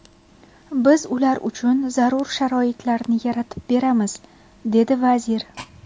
Biz ular uchun zarur sharoitlarni yaratib beramiz”, dedi vazir.